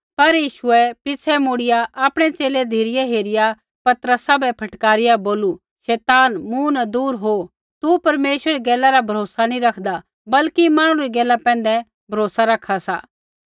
पर यीशुऐ पिछ़ै मुड़िया आपणै च़ेले धिरै हेरिया पतरसा बै फटकारिया बोलू शैतान मूँ न दूर हो तू परमेश्वरै री गैला रा भरोसा नी रैखदा बल्कि मांहणु री गैला पैंधै भरोसा रखा सा